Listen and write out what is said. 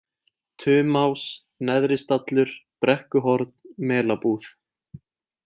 Tumás, Neðristallur, Brekkuhorn, Melabúð